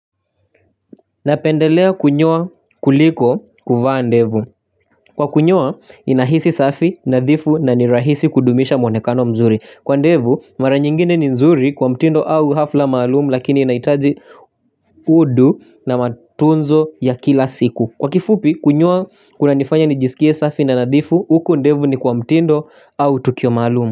Napendelea kunyoa kuliko kuvaa ndevu. Kwa kunyoa inahisi safi nadhifu na ni rahisi kudumisha mwonekano mzuri kwa ndevu mara nyingine ni nzuri kwa mtindo au hafla maalum lakini inaitaji udu na matunzo ya kila siku. Kwa kifupi kunyoa kunanifanya nijisikie safi na nadhifu uku ndevu ni kwa mtindo au tukio maalum.